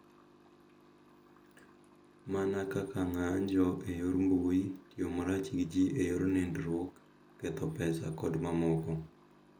Mana kaka ng’anjo e yor mbui, tiyo marach gi ji e yor nindruok, ketho pesa kod mamoko.